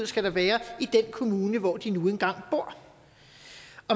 skal være i den kommune hvor de nu engang bor